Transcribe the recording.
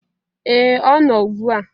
ee ọ no ugbu a